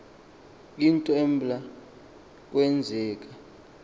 into eblya kwenzeka